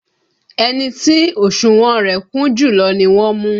Ẹni tí òsùnwọ̀n rẹ̀ kún jùlọ ni wọ́n mú